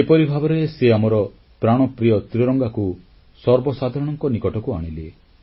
ଏପରି ଭାବରେ ସେ ଆମର ପ୍ରାଣପ୍ରିୟ ତ୍ରିରଙ୍ଗାକୁ ସର୍ବସାଧାରଣଙ୍କ ନିକଟକୁ ଆଣିଲେ